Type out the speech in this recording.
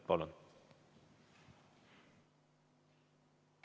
Palun!